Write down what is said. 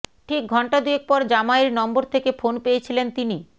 ঠিক ঘণ্টা দুয়েক পর জামাইয়ের নম্বর থেকে ফোন পেয়েছিলেন তিনি